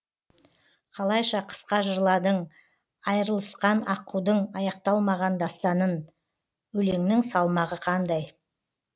қалайша қысқа жырладың айрылысқан аққудың аяқталмаған дастанын өлеңнің салмағы қандай